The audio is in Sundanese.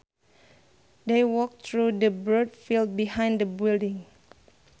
They walked through the broad field behind the building